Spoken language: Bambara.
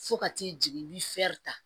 Fo ka t'i jigin ta